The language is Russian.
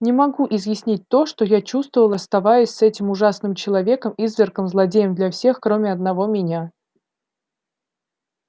не могу изъяснить то что я чувствовал оставаясь с этим ужасным человеком извергом злодеем для всех кроме одного меня